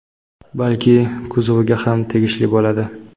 balki kuzoviga ham tegishli bo‘ladi.